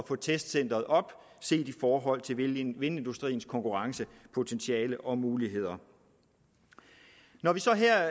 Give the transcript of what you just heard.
få testcenteret op at set i forhold til vindindustriens konkurrencepotentiale og muligheder når vi så her